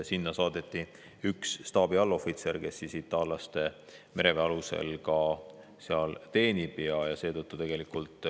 Sinna saadeti üks staabiallohvitser, kes teenib seal itaallaste mereväe alusel.